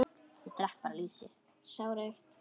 Ég drekk bara lýsi!